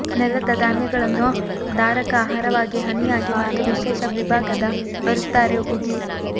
ನೆಲದ ಧಾನ್ಯಗಳನ್ನು ಧಾರಕ ಆಹಾರವಾಗಿ ಹನಿಯಾಗಿ ಮತ್ತು ವಿಶೇಷ ವಿಭಾಗದ ಬರುತ್ತಾರೆ ಉಗಿ